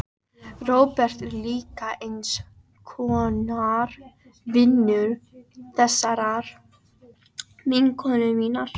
Róbert er líka eins konar vinur þessarar vinkonu minnar.